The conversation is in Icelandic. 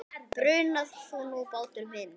Bruna þú nú, bátur minn.